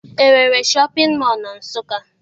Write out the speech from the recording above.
E nwere shọpịn mọọ na Nsụka?